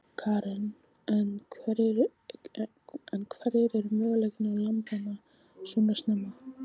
Karen: En hverjir eru möguleikar lambanna svona snemma?